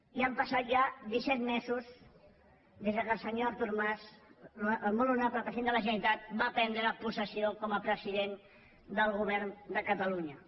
i han passat ja disset mesos des que el senyor artur mas el molt honorable president de la generalitat va prendre possessió com a president del govern de catalunya